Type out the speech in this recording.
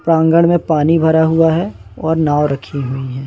प्रांगण में पानी भरा हुआ है और नाव रखी हुई है।